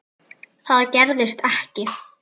Það gerðist ekki.